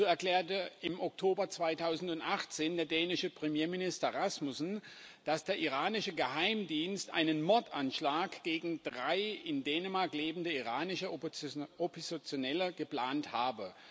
So erklärte im Oktober 2018 der dänische Premierminister Rasmussen, dass der iranische Geheimdienst einen Mordanschlag gegen drei in Dänemark lebende iranische Oppositionelle geplant habe.